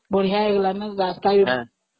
ବହୁତ ବଢିଆ ହେଇଗଲାଣି ନା, ରାସ୍ତା ବି